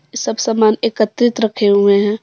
सब सामान एकत्रित रखे हुए हैं।